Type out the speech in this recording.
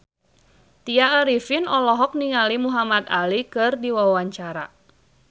Tya Arifin olohok ningali Muhamad Ali keur diwawancara